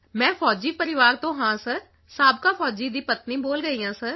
ਮੈਂ ਫ਼ੌਜੀ ਪਰਿਵਾਰ ਤੋਂ ਹਾਂ ਸਰ ਸਾਬਕਾ ਫ਼ੌਜੀ ਦੀ ਪਤਨੀ ਬੋਲ ਰਹੀ ਹਾਂ ਸਰ